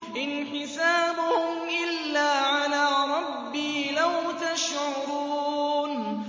إِنْ حِسَابُهُمْ إِلَّا عَلَىٰ رَبِّي ۖ لَوْ تَشْعُرُونَ